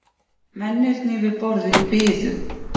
Mennirnir við borðið biðu.